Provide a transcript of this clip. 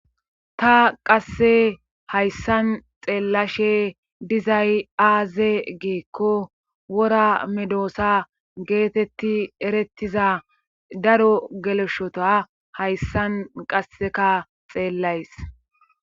ta qasse hayssan xeellashe dizay aaze geekko wora medoosa geetetti erettiza daro geleshota hayssan qasseka xeellays